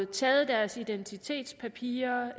taget deres identitetspapirer